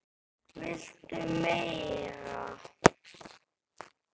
VILTU MEIRA?